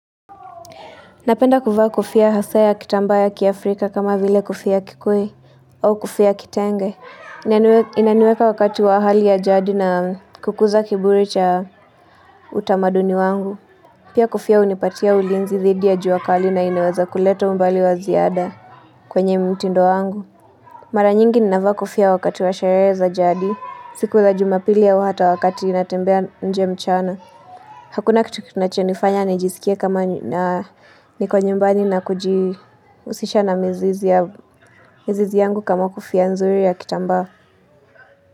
Napenda kuvaa kofia hasa ya kitambaa ya kiafrika kama vile kofia kikoi au kofia ya kitenge. Inaniweka wakati wa ahali ya jadi na kukuza kiburi cha utamaduni wangu. Pia kofia hunipatia ulinzi thidi ya juakali na inaweza kuleta mbali wa ziada kwenye mtindo wangu. Mara nyingi ninavaa kofia wakati wa shereza za jadi. Siku za jumapili ya wata wakati inatembea nje mchana. Hakuna kitu kinacho nifanya nijisikie kama na niko nyumbani na kuji husisha na mizizi ya mizizi yangu kama kofiia nzuri ya kitambaa.